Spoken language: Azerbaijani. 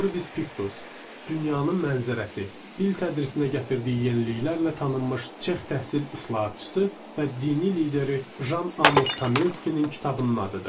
Orbis Piktus, dünyanın mənzərəsi, dil tədrisinə gətirdiyi yeniliklərlə tanınmış Çex təhsil islahatçısı və dini lideri Jan Amos Komenskinin kitabının adıdır.